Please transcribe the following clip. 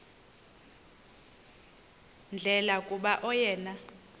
ndlela kuba oyena